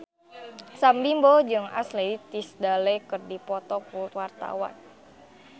Sam Bimbo jeung Ashley Tisdale keur dipoto ku wartawan